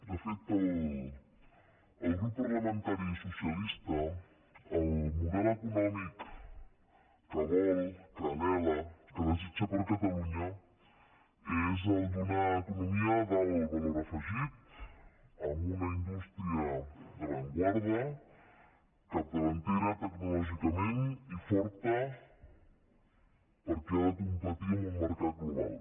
de fet el grup parlamentari socialista el model econòmic que vol que anhela que desitja per a catalunya és el d’una economia d’alt valor afegit amb una indústria d’avantguarda capdavantera tecnològicament i forta perquè ha de competir en un mercat global